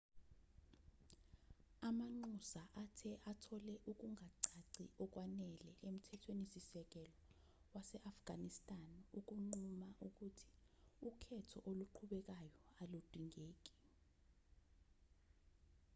amanxusa athe athole ukungacaci okwanele emthethweni-sisekelo wase-afghanistan ukunquma ukuthi ukhetho oluqhubekayo aludingeki